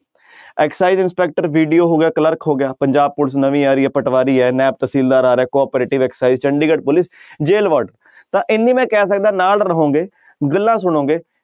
inspector BDO ਹੋ ਗਿਆ clerk ਹੋ ਗਿਆ ਪੰਜਾਬ ਪੁਲਿਸ ਨਵੀਂ ਆ ਰਹੀ ਹੈ ਪਟਵਾਰੀ ਹੈ ਨੈਬ ਤਹਿਸੀਲਦਾਰ ਆ ਰਿਹਾ cooperative Chandigarh police jail ward ਤਾਂ ਇੰਨੀ ਮੈਂ ਕਹਿ ਸਕਦਾਂ ਨਾਲ ਰਹੋਗੇ ਗੱਲਾਂ ਸੁਣੋਗੇ,